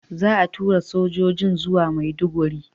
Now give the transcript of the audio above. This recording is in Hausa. Za a tura sojojin zuwa Maiduguri.